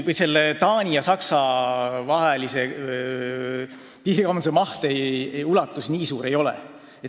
Taani ja Saksa vahelise piirikaubanduse maht nii suur ei ole.